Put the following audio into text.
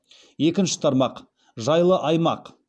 екінші тармақ жайлы аймақ